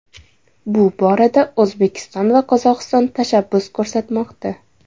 Bu borada O‘zbekiston va Qozog‘iston tashabbus ko‘rsatmoqda.